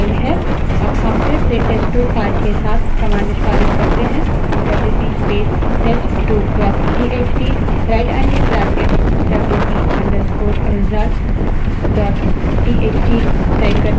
अब हम फिर से test2 file के साथ command निष्पादित करते हैं हम WC space test2 dot TXT right angled bracket WC _ result dot TXT wc space test2 dot txt rightangled bracket wc _ results dot txt type करते हैं